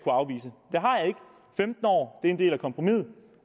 femten år er en del af kompromisset